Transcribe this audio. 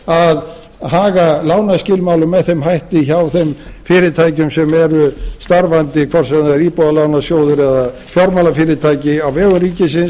að haga lánaskilmálum með þeim hætti hjá þeim fyrirtækjum sem eru starfandi hvort sem það er íbúðalánasjóður eða fjármálafyrirtæki á vegum ríkisins